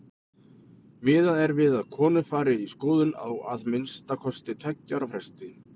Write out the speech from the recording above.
Miðað er við að konur fari í skoðun á að minnsta kosti tveggja ára fresti.